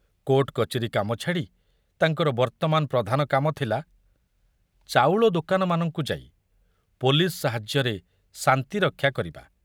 Court କଚେରୀ କାମ ଛାଡ଼ି ତାଙ୍କର ବର୍ତ୍ତମାନ ପ୍ରଧାନ କାମ ଥିଲା ଚାଉଳ ଦୋକାନମାନଙ୍କୁ ଯାଇ ପୋଲିସ ସାହାଯ୍ୟରେ ଶାନ୍ତି ରକ୍ଷା କରିବା।